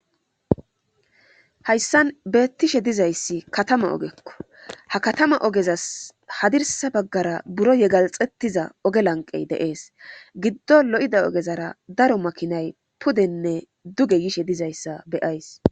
hayssan beettishe dizayssi katama ogekko ha katama ogezas hadirsa baggara buro yegalxettiza oge lanqey deees giddo lo7ida ogezara daro makinay pudenne duge yishe dizayssa beyays